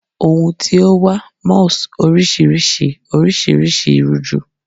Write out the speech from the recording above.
Ohun tio wa malls oriširiši orisirisi ruju